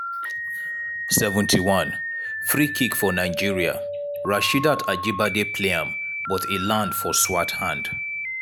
71' freekick for nigeria rasheedat ajibade play am but e land for swart hand.